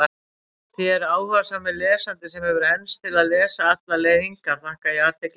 Þér, áhugasami lesandi, sem hefur enst til að lesa alla leið hingað, þakka ég athyglina.